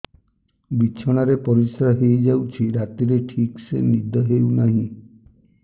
ବିଛଣା ରେ ପରିଶ୍ରା ହେଇ ଯାଉଛି ରାତିରେ ଠିକ ସେ ନିଦ ହେଉନାହିଁ